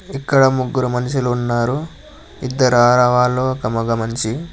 ఇక్కడ ముగ్గురు మనుషులు ఉన్నారు ఇద్దరు ఆడవాళ్లు ఒక మగమనిషి.